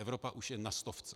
Evropa už je na stovce.